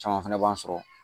Caman fana b'an sɔrɔ